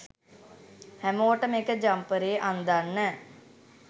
හැමෝටම එක ජම්පරේ අන්දන්න